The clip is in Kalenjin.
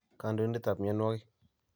kandoindetap myanwogik